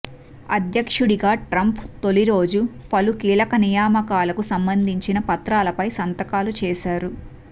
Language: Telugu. అధ్యక్షుడిగా ట్రంప్ తొలి రోజు పలు కీలక నియామకాలకు సంబంధించిన పత్రాలపై సంతకాలు చేశారు